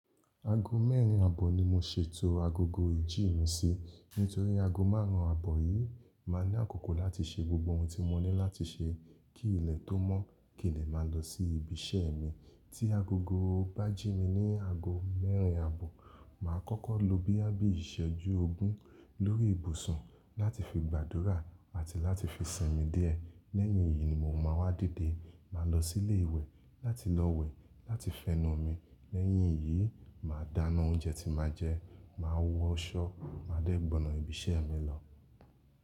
Aago mẹ́rin àbọ̀ ni mo ṣètò agogo ìjí mi sí. Nítorí aago márùn-ún àbọ̀ yìí máa ní àkókò láti ṣe gbogbo ohun tí mo ní láti ṣe kí ilẹ̀ tó mọ́, kíni lè máa lọ sí ibi iṣẹ́ mi. Tí agogo bá jí mi ní aago mẹ́rin àbọ̀, màá kọ́kọ́ lọ boyá bí ìṣẹ́jú ogún lórí ìbùsùn láti fi gbàdúrà àti láti fi sinmi díẹ̀. Lẹ́yìn yìí ni mò ma wá dìde, máa lọ sí ilé ìwẹ̀ láti lọ wẹ̀ láti fẹnu mi. Lẹ́yìn yìí, màá dáná oúnjẹ tí màá jẹ, màá wọṣọ, màá dẹ́ gbọnọ ibi ṣẹ́ mi lọ.